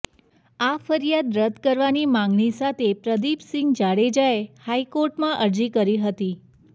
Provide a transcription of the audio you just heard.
આ ફરિયાદ રદ કરવાની માંગણી સાથે પ્રદીપસિંહ જાડેજાએ હાઇકોર્ટમાં અરજી કરી હતી